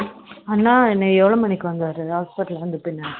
அண்ணா எவ்வளவு மணிக்கு வந்தாரு hospital வந்த பின்ன